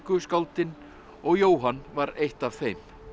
skáldin og Jóhann var eitt af þeim